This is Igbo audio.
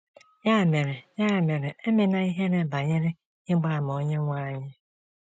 Ya mere, Ya mere, e mena ihere banyere ịgba àmà Onyenwe anyị.